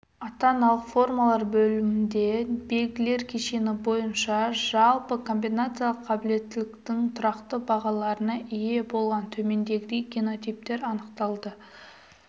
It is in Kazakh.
ата-аналық формалар бөлімінде белгілер кешені бойынша жалпы комбинациялық қабілеттіліктің тұрақты бағаларына ие болған төмендегідей генотиптер анықталды